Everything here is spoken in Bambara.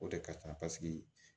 O de ka ca paseke